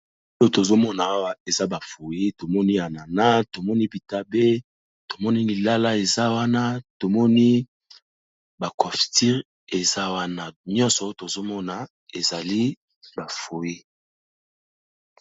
Oyo tozo mona awa eza ba fruits to moni ananas, tomoni bitabe, tomoni lilala, eza wana to moni ba confuture eza wana, nyonso tozo mona ezali ba fruits .